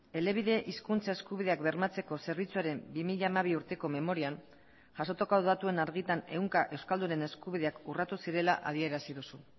elebide hizkuntza eskubideak bermatzeko zerbitzuaren bi mila hamabi urteko memorian jasotako datuen argitan ehunka euskaldunen eskubideak urratu zirela adierazi duzu